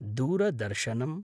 दूरदर्शनम्